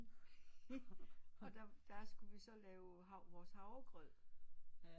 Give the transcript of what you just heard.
Og og der skulle vi så lave vores havregrød